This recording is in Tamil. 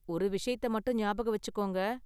ஒரு விஷயத்த மட்டும் ஞாபகம் வெச்சிக்கோங்க.